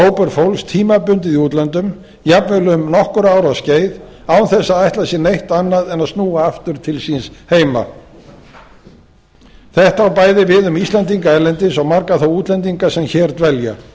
hópur fólks tímabundið í útlöndum jafnvel um nokkurra ára skeið án þess að ætla sér neitt annað en að snúa aftur til síns heima þetta á bæði við um íslendinga erlendis og marga þá útlendinga sem hér dvelja ég